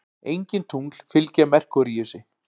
Engin tungl fylgja Merkúríusi.